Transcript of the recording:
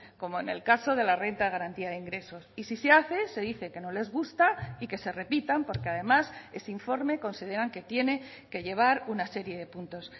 como en el caso de la renta de garantía de ingresos y si se hace se dice que no les gusta y que se repitan porque además ese informe consideran que tiene que llevar una serie de puntos